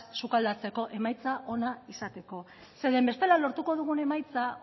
sukaldatzeko emaitza onak izateko zeren bestela lortuko dugun emaitza